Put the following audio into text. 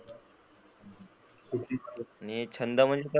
आणि छंद म्हणजे कस,